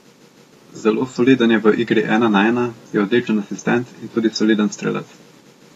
Zelo soliden je v igri ena na ena, je odličen asistent in tudi soliden strelec.